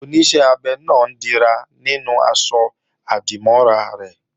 Oníṣẹ́ abẹ náà ń dira nínú aṣọ-àdìmọ́ra rẹ̀